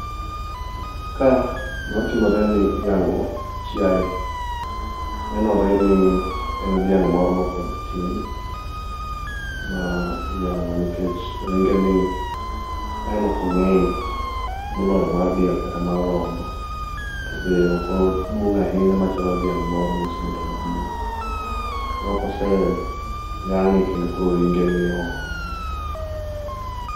Ka gimatimore en ni iyang'o chiaye, nenore ni en dhiang' moro mapod tin ma iyang'o nikech ringe ni aneno kong'eny moloyo mar diel kata mar rombo. To be okoduong' ahinya machalo dhiang' moro mosebedo maduong', aneno kose yang'e kendo koro ringe nioko.